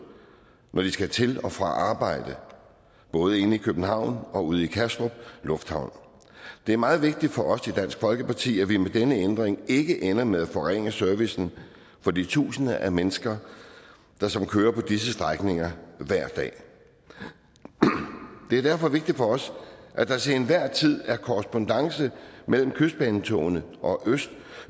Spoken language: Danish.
når de skal til og fra arbejde både inde i københavn og ude i kastrup lufthavn det er meget vigtigt for os i dansk folkeparti at vi med denne ændring ikke ender med at forringe servicen for de tusinder af mennesker som kører på disse strækninger hver dag det er derfor vigtigt for os at der til enhver tid er korrespondance mellem kystbanetogene og